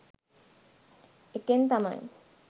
ඒකෙන් තමයි